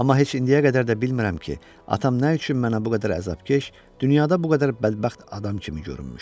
Amma heç indiyə qədər də bilmirəm ki, atam nə üçün mənə bu qədər əzabkeş, dünyada bu qədər bədbəxt adam kimi görünmüşdü.